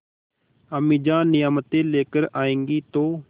अम्मीजान नियामतें लेकर आएँगी तो